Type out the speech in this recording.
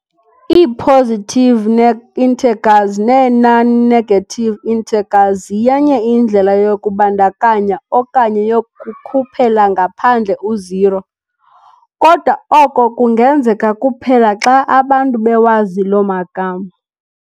"ii-Positive integers" nee-"non-negative integers" ziyenye indlela yokubandakanya okanye yokukhuphela ngaphandle u-zero, kodwa oko kungenzeka kuphela xa abantu bewazi loo magama.